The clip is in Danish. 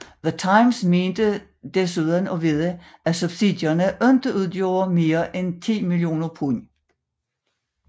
The Times mente desuden at vide at subsidierne ikke udgjorde mere end 10 mio pund